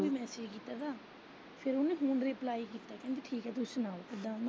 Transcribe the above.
ਉਨੂੰ message ਕੀਤਾ ਤਾਂ ਉਨੇ ਫੋਨ ਦਾ reply ਕੀਤਾ ਕਹਿੰਦੀ ਠੀਕ ਐ ਤੁਸੀਂ ਸੁਣਾਉ ਕਿਦਾ।